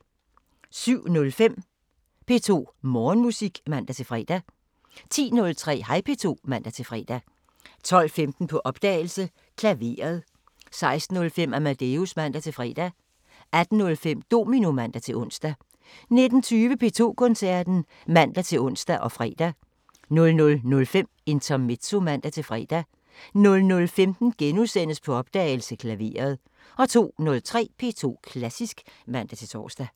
07:05: P2 Morgenmusik (man-fre) 10:03: Hej P2 (man-fre) 12:15: På opdagelse – Klaveret 16:05: Amadeus (man-fre) 18:05: Domino (man-ons) 19:20: P2 Koncerten (man-ons og fre) 00:05: Intermezzo (man-fre) 00:15: På opdagelse – Klaveret * 02:03: P2 Klassisk (man-tor)